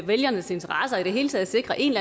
vælgernes interesser og i det hele taget sikre en